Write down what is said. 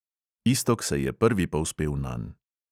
Iztok se je prvi povzpel nanj.